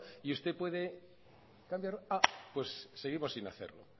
y usted puede cambiar pues seguimos sin hacer